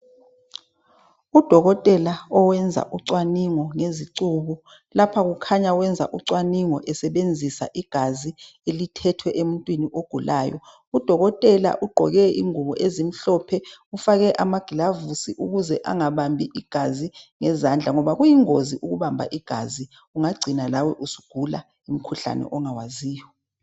Udokotela owenza ucwaningo ngezicubu lapho kukhanya wenza ucwaningo esebenzisa igazi elithethwe emuntwini ogulayo. Udokotela ugqoke ingubo ezimhlophe ufake amagilavusi ukuze angabambinigazi ngezandla ngiba kuyingozi ukubamba igazi ungagcina lawe usugula umkhuhlane ongawaziyo.